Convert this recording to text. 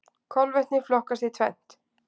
Kolvetni flokkast í tvennt.